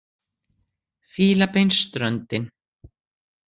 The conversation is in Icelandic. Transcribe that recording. Fílabeinsströndin